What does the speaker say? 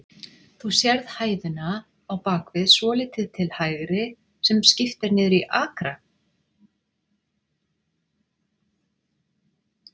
Þú sérð hæðina á bakvið, svolítið til hægri, sem skipt er niður í akra?